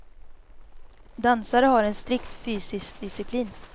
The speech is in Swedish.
Dansare har en strikt fysiskt disciplin.